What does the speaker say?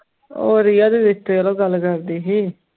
ਹੋਰ ਯਾਰ ਰਿਸਤੇ ਗੱਲ ਕਰਦੀ ਸੀ